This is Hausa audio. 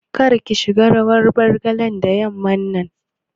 Kar ki shiga rawar Bargalar da yamman nan